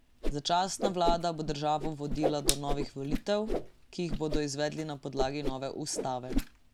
Začasna vlada bo državo vodila do novih volitev, ki jih bodo izvedli na podlagi nove ustave.